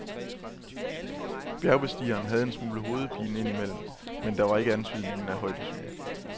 Bjergbestigeren havde en smule hovedpine ind imellem, men der var ikke antydningen af højdesyge.